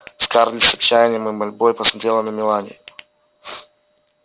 скарлетт с отчаянием и мольбой посмотрела на мелани